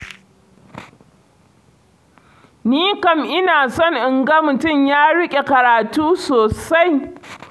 Ni kam ina son in ga mutum ya riƙe karatu sosai.